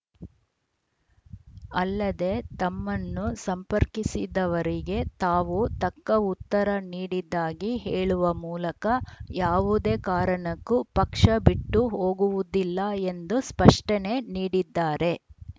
ಅಲ್ಲದೆ ತಮ್ಮನ್ನು ಸಂಪರ್ಕಿಸಿದವರಿಗೆ ತಾವು ತಕ್ಕ ಉತ್ತರ ನೀಡಿದ್ದಾಗಿ ಹೇಳುವ ಮೂಲಕ ಯಾವುದೇ ಕಾರಣಕ್ಕೂ ಪಕ್ಷ ಬಿಟ್ಟು ಹೋಗುವುದಿಲ್ಲ ಎಂದು ಸ್ಪಷ್ಟನೆ ನೀಡಿದ್ದಾರೆ